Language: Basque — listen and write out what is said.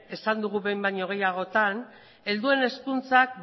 esan dugu behin baino gehiagotan helduen hezkuntzak